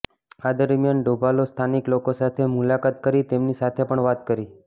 આ દરમિયાન ડોભાલે સ્થાનીક લોકો સાથે મુલાકાત કરી તેમની સાથે વાત પણ કરી